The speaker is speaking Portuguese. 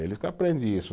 Eles que aprendem isso.